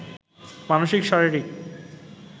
মানসিক শারীরিক